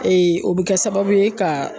o bɛ kɛ sababu ye ka